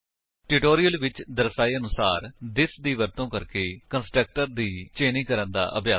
tutorial ਵਿੱਚ ਦਰਸਾਏ ਅਨੁਸਾਰ ਥਿਸ ਦੀ ਵਰਤੋ ਕਰਕੇ ਕੰਸਟਰਕਟਰਸ ਦੀ ਚੇਨਿੰਗ ਕਰਨ ਦਾ ਅਭਿਆਸ ਕਰੋ